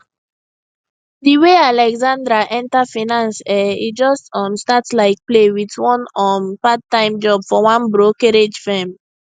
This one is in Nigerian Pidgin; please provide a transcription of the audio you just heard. di way alexandra enter finance[um]e just um start like play with one um parttime job for one brokerage firm